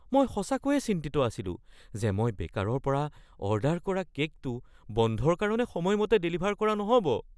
মই সঁচাকৈয়ে চিন্তিত আছিলো যে মই বেকাৰৰ পৰা অৰ্ডাৰ কৰা কে'কটো বন্ধৰ কাৰণে সময়মতে ডেলিভাৰ কৰা নহ'ব।